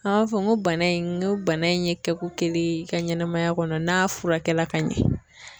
An b'a fɔ n ko bana in n ko bana in ye kɛ ko kelen ye i ka ɲɛnɛmaya kɔnɔ n'a furakɛla ka ɲɛ.